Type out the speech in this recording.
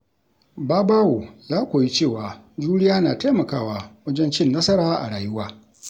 Babawo ya koyi cewa juriya na taimakawa wajen cin nasara a rayuwa.